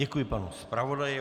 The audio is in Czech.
Děkuji panu zpravodaji.